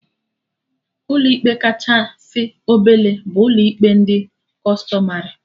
Ụlọ ikpe kachasị obele bụ ụlọ ikpe ndị Kụstọmarị